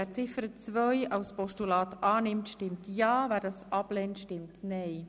Wer Ziffer 2 des Postulats annimmt, stimmt ja, wer diese ablehnt, stimmt nein.